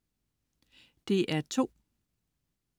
DR2: